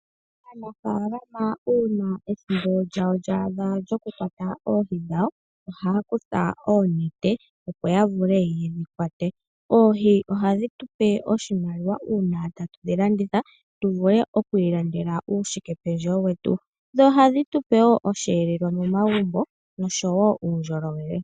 Aanafaalama uuna ethimbo lyawo lya adha lyokukwata oohi dhawo ohaya kutha oonete opo ya vule ye dhi kwate. Oohi ohadhi tu pe oshimaliwa uuna tatu dhi landitha tuvule oku imonena uushike pendjewo wetu . Ohadhi tu pe woo osheelelwa momagumbo noshowo uundjolowele.